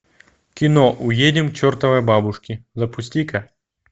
кино уедем к чертовой бабушке запусти ка